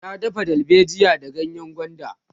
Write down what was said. ta dafa dalbejiya da ganyengwanda